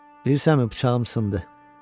Bilirsənmi, bıçağım sındı.